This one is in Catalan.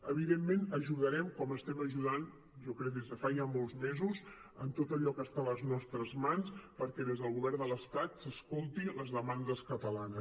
evidentment que ajudarem com estem ajudant jo crec des de fa ja molts mesos en tot allò que està a les nostres mans perquè des del govern de l’estat s’escoltin les demandes catalanes